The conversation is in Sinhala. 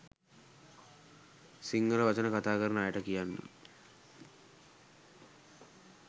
සිංහල වචන කතා කරන අයට කියන්න.